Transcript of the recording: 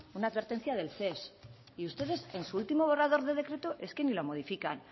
una advertencia del ces y ustedes en su último borrador de decreto es que ni lo modifican